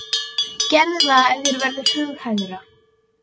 Gerðu það ef þér verður hughægra.